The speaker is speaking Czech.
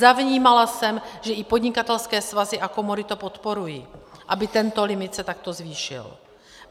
Zavnímala jsem, že i podnikatelské svazy a komory to podporují, aby tento limit se takto zvýšil.